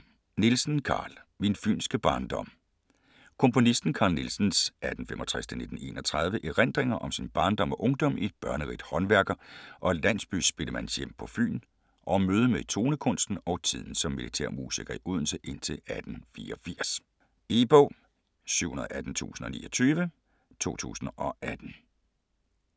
Nielsen, Carl: Min fynske barndom Komponisten Carl Nielsens (1865-1931) erindringer om sin barndom og ungdom i et børnerigt håndværker- og landsbyspillemandshjem på Fyn og om mødet med tonekunsten og tiden som militærmusiker i Odense indtil 1884. E-bog 718029 2018.